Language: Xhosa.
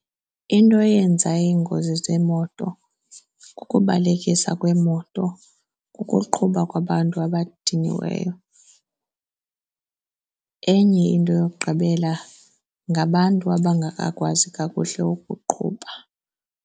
Into eyenza iingozi zeemoto kukubalekisa kweemoto, kukuqhuba kwabantu abadiniweyo. Enye into yokugqibela ngabantu abangakwazi kakuhle ukuqhuba.